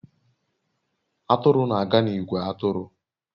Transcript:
Atụrụ na-aga n'ìgwè atụrụ